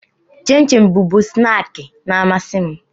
Chịm chịm bụbu snaakị na-amasị m.